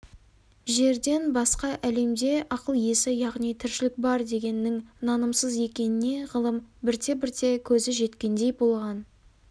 жерден басқа әлемде ақыл иесі яғни тіршілік бар дегеннің нанымсыз екеніне ғылым бірте-бірте көзі жеткендей болған